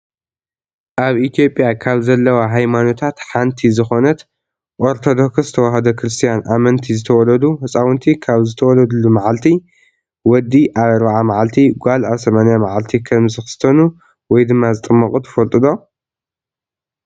ኣብ ኢትዮጵያ ካብ ዘለዋ ሃይማኖታት ሓንቲ ዝኮነት ኦርቶዶክስ ተዋህዶ ክርስትያን ኣመንቲ ዝተወለዱ ህፃውንቲ ካብ ዝተወለዱሉ ማዓልቲ፣ ወዲ ኣብ ኣርባዓ ማዓልቲ ጓል ኣብ ሰማንያ ማዓልቲ ከም ዝክስተኑ /ዝጥመቁ/ ትፈልጡ ዶ?